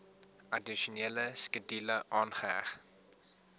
addisionele skedule aangeheg